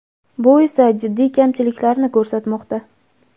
bu esa jiddiy kamchiliklarni ko‘rsatmoqda.